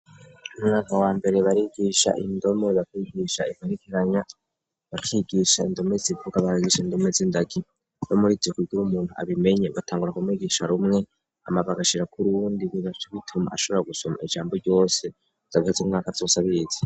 Umwaka wa mbere barigisha indome bakigisha iparikiranya bakigisha indome zivuga baragisha indome z'indagi no muriitikigira umuntu abimenye batangura kumwigisha rumwe amabagashira kuri wundi bibase bituma ashobora gusoma ijambo ryose zagfase imwaka yose abiyizi.